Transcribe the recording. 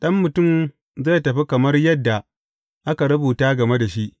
Ɗan Mutum zai tafi kamar yadda aka rubuta game da shi.